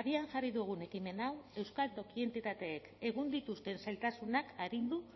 abian jarri dugun ekimen hau euskal toki entitateek egun dituzten zailtasunak arindu